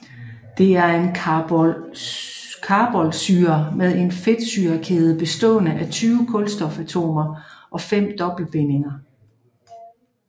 Det er en carboxylsyre med en fedtsyrekæde bestående af 20 kulstofatomer og fem dobbeltbindinger